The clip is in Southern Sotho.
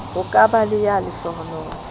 ho ka ba le ya